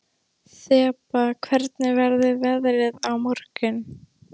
Þeba, hvernig verður veðrið á morgun?